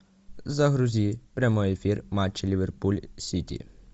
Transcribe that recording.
загрузи прямой эфир матча ливерпуль сити